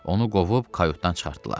Onu qovub kayutdan çıxartdılar.